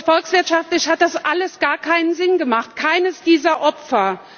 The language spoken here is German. Katar. Volkswirtschaftlich hat das alles gar keinen Sinn gemacht keines dieser